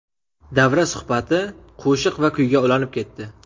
Davra suhbati qo‘shiq va kuyga ulanib ketdi.